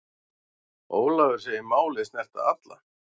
Ólafur segir málið snerta alla.